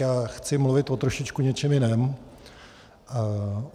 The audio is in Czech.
Já chci mluvit o trošičku něčem jiném.